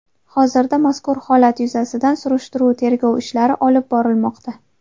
Hozirda mazkur holat yuzasidan surishtiruv-tergov ishlari olib borilmoqda.